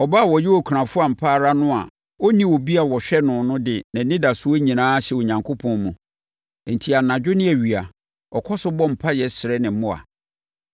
Ɔbaa a ɔyɛ okunafoɔ ampa ara no a ɔnni obi a ɔhwɛ no no de nʼanidasoɔ nyinaa ahyɛ Onyankopɔn mu, enti anadwo ne awia, ɔkɔ so bɔ mpaeɛ srɛ ne mmoa.